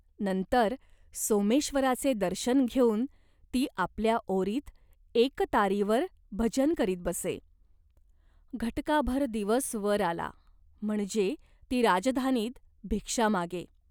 नंतर सोमेश्वराचे दर्शन घेऊन ती आपल्या ओरीत एकतारीवर भजन करीत बसे. घटकाभर दिवस वर आला, म्हणजे ती राजधानीत भिक्षा मागे.